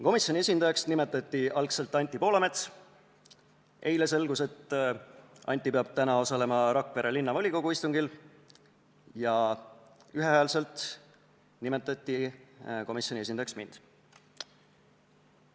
Komisjoni esindajaks nimetati algul Anti Poolamets, aga eile selgus, et Anti peab täna osalema Rakvere Linnavolikogu istungil, ja ühehäälselt nimetati komisjoni esindajaks mind.